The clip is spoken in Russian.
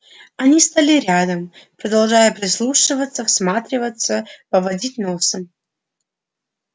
они стали рядом продолжая прислушиваться всматриваться поводить носом